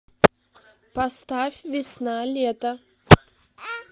поставь весна лето